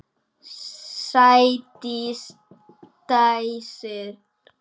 Sædís dæsir.